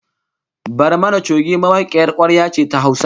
Barmani choge mawakiyar kwarya ce ta Hausa